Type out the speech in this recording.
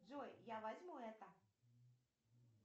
джой я возьму это